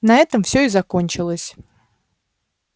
на этом всё и закончилось